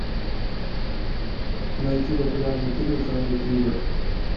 найти популярный фильм в жанре триллер